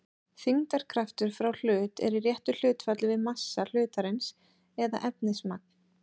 þyngdarkraftur frá hlut er í réttu hlutfalli við massa hlutarins eða efnismagn